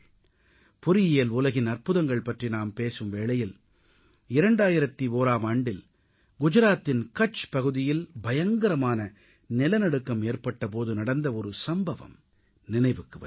பொறியியல் உலகின் அற்புதங்கள் பற்றி நாம் பேசும் வேளையில் 2001ஆம் ஆண்டில் குஜராத்தின் கட்ச் பகுதியில் பயங்கரமான நிலநடுக்கம் ஏற்பட்ட போது நடந்த ஒரு சம்பவம் நினைவுக்கு வருகிறது